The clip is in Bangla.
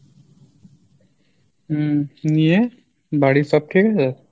উম নিয়ে বাড়ির সব ঠিক আছে?